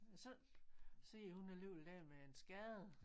Så sidder hun alligevel der med en skade